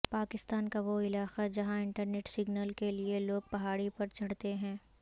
پاکستان کا وہ علاقہ جہاں انٹرنیٹ سگنل کے لیے لوگ پہاڑی پر چڑھتے ہیں